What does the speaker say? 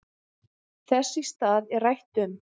Þess í stað er rætt um